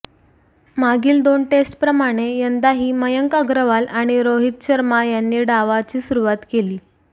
मागील दोन टेस्टप्रमाणे यंदाही मयंक अग्रवाल आणि रोहित शर्मा यांनी डावाची सुरुवात केली